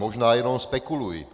Možná jenom spekuluji.